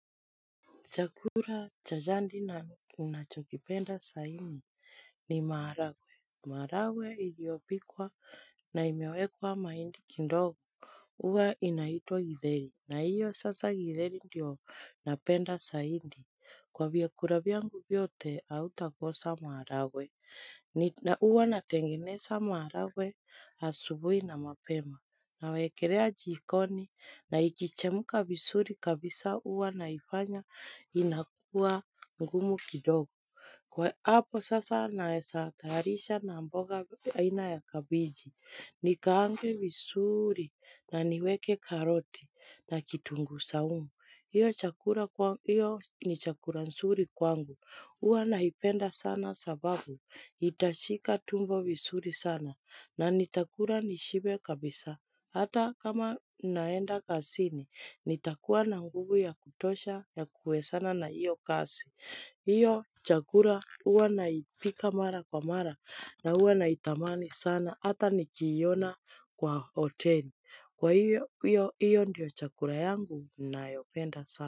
Chakula cha jandi na unachokipenda zaidi ni maharagwe. Maharagwe iliyopikwa na imewekwa mahindi kindogo. Uwa inaitwa githeri na iyo sasa githeri ndiyo napenda zaidi Kwa vyakula vyangu vyote hautakosa maharagwe. Ni na uwa natengeneza maharagwe asubui na mapema. Na wekelea jikoni na ikichemka vizuri kabisa uwa naifanya inakua ngumu kidogo. Kwa apo sasa naeza taharisha na mboga aina ya kabeji. Ni kaange vizuri na niweke karoti na kitunguu saumu. Iyo chakura iyo ni chakura nzuri kwangu Uwa naipenda sana sababu itashika tumbo visuri sana na nitakura nishibe kabisa. Hata kama naenda kasini, nitakuwa na nguvu ya kutosha, ya kuhue sana na iyo kasi. Iyo chakura uwa naipika mara kwa mara na uwa na itamani sana. Hata nikiona kwa hoteli. Kwa hiyo, hiyo ndiyo chakura yangu nayopenda sana.